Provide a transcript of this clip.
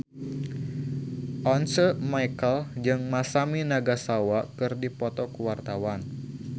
Once Mekel jeung Masami Nagasawa keur dipoto ku wartawan